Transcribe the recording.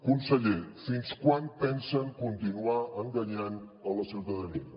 conseller fins quan pensen continuar enganyant la ciutadania